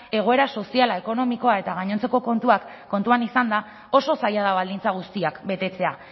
egoera soziala ekonomikoa eta gainontzeko kontuak kontuan izanda oso zaila da baldintza guztiak betetzea